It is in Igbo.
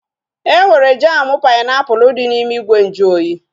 Enwere jamu painiapulu dị n'ime ìgwè nju oyi